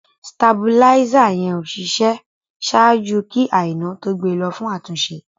Stàbúlísa yẹn ó ṣiṣẹ sáàjú kí Àinà tó gbẹ̀ lọ fún àtúnṣe.